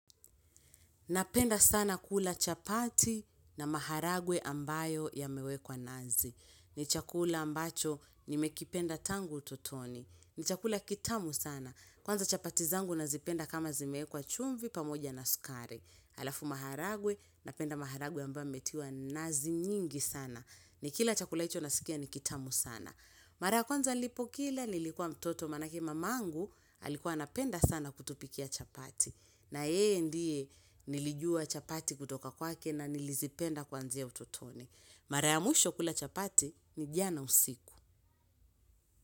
Napenda sana kula chapati na maharagwe ambayo yamewekwa nazi. Ni chakula ambacho nimekipenda tangu ututoni. Ni chakula kitamu sana. Kwanza chapati zangu nazipenda kama zimewekwa chumvi pamoja na sukare. Halafu maharagwe, napenda maharagwe ambayo yametiwa nazi nyingi sana. Nikila chakula hicho nasikia ni kitamu sana. Mara ya kwanza nilipo kila, nilikuwa mtoto manake mamangu, alikuwa anapenda sana kutupikia chapati. Na yeye ndiye nilijua chapati kutoka kwake na nilizipenda kwanzia ututoni. Mara ya mwisho kula chapati ni jana usiku.